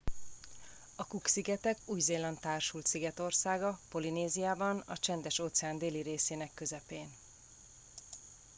a cook szigetek új zéland társult szigetországa polinéziában a csendes óceán déli részének közepén